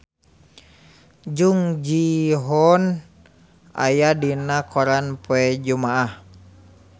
Jung Ji Hoon aya dina koran poe Jumaah